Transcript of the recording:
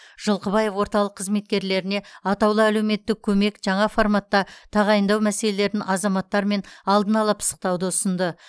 жылқыбаев орталық қызметкерлеріне атаулы әлеуметтік көмек жаңа форматта тағайындау мәселелерін азаматтармен алдын ала пысықтауды ұсынды